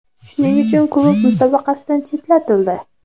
Shuning uchun klub musobaqadan chetlatildi.